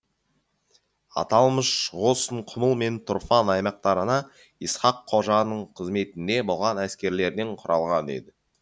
аталмыш қосын құмыл мен тұрфан аймақтарына исхақ қожаның қызметінде болған әскерлерден құралған еді